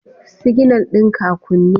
Siginal ɗin ka a kunne